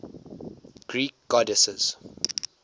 greek goddesses